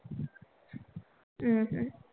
हम्म हम्म